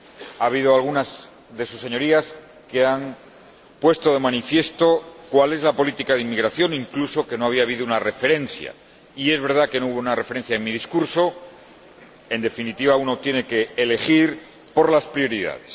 Ha habido alguna de sus Señorías que han puesto de manifiesto cuál es la política de inmigración e incluso que no había habido una referencia, y es verdad que no hubo una referencia en mi discurso, en definitiva, uno tiene que elegir las prioridades.